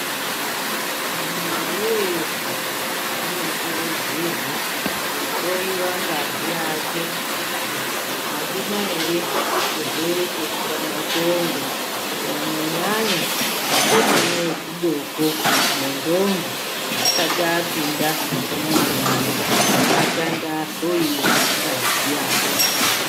Muntu weshe unokurudzirwa kuhloiwa ngazi yake kuti haina ere chirwere cheshuramatongo. Kunyanya nyanya akomana echidoko nendombi asati vapinda muwanano ngaatange ahloiwa ngazi yawo.